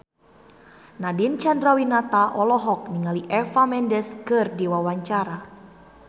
Nadine Chandrawinata olohok ningali Eva Mendes keur diwawancara